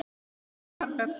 Helga: Hversu margar?